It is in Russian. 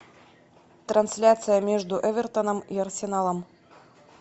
трансляция между эвертоном и арсеналом